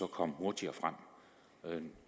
komme hurtigere frem